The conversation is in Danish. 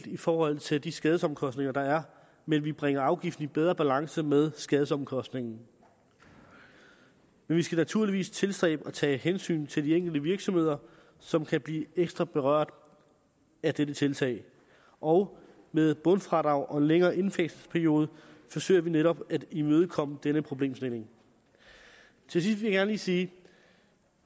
i forhold til de skadesomkostninger der er men vi bringer afgiften i bedre balance med skadesomkostningen men vi skal naturligvis tilstræbe at tage hensyn til de enkelte virksomheder som kan blive ekstra berørt af dette tiltag og med et bundfradrag og en længere indfasningsperiode forsøger vi netop at imødegå denne problemstilling til sidst vil jeg gerne lige sige